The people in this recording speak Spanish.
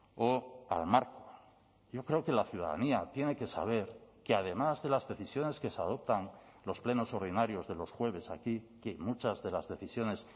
o al marco yo creo que la ciudadanía tiene que saber que además de las decisiones que se adoptan los plenos ordinarios de los jueves aquí que muchas de las decisiones